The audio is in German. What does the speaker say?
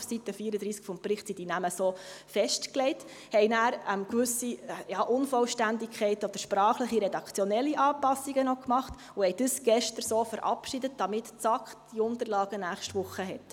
auf Seite 34 des Berichts sind die Namen so festgelegt –, haben dann noch gewisse Unvollständigkeiten bearbeitet oder sprachlich-redaktionelle Anpassungen gemacht und haben dies gestern so verabschiedet, damit die SAK diese Unterlagen nächste Woche hat.